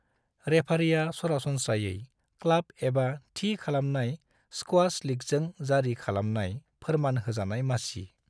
रेफारिआ सरासनस्रायै क्लाब एबा थि खालामनाय स्क्वास लिगजों जारि खालामनाय फोरमान होजानाय मासि ।